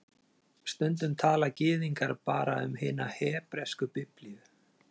Stundum tala Gyðingar bara um hina hebresku Biblíu